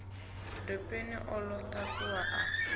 dopeni o ḓo takuwa a